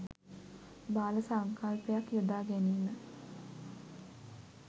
බාල සංකල්පයක් යොදා ගැනීම